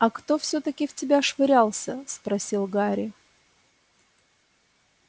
а кто всё-таки в тебя швырялся спросил гарри